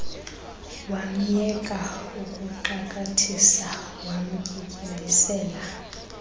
wamyeka ukuxakathisa wamtyityimbisela